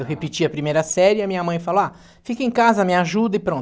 Eu repetia a primeira série e a minha mãe falou, ah, fica em casa, me ajuda e pronto.